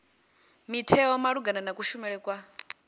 mutheo malugana na kushumele kwa